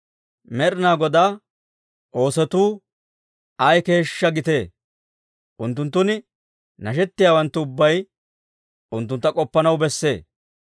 Med'inaa Godaa oosotuu ay keeshshaa gitee! Unttunttun nashettiyaawanttu ubbay unttuntta k'oppanaw bessee.